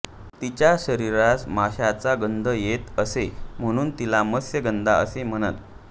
तिच्या शरीरास माशांचा गंध येत असे म्हणून तिला मत्स्यगंधा असे म्हणत